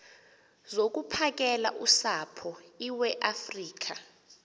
zokuphakela usapho iweafrika